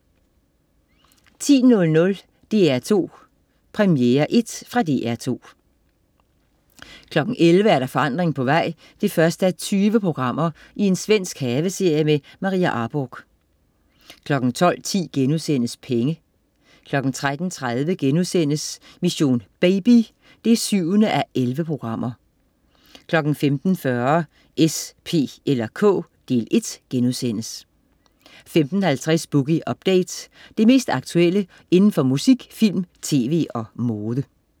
10.00 DR2 Premierel. Fra DR2 11.00 Forandring på vej 1:20. Svensk haveserie med Maria Arborgh 12.10 Penge* 13.30 Mission: Baby 7:11* 15.40 S, P eller K. Del 1* 15.50 Boogie Update. Det mest aktuelle inden for musik, film, tv og mode